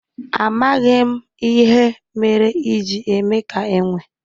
Amaghim ihe mere i ji eme ka enwe